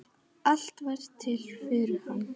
Allt varð til fyrir hann.